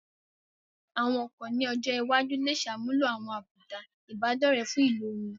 Àwọn ọkọ̀ ní ọjọ́ iwájú lè ṣàmúlò àwọn àbùdá Ìbádọ́rẹ̀ẹ́ fún ìlò wọn